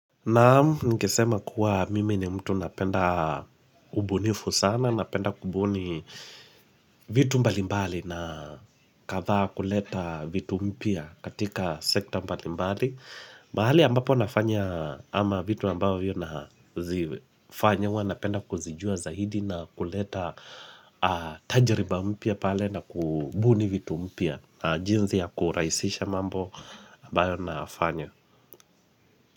Naamu ningesema kuwa mime ni mtu napenda ubunifu sana, napenda kubuni vitu mbali mbali na katha kuleta vitu mpia katika sekta mbali mbali mbali ambapo nafanya ama vitu ambapo vio na zifanyawa napenda kuzijua zaidi na kuleta tajriba mpia pale na kubuni vitu mpia jinzi ya kuraisisha mambo ambayo nafanya.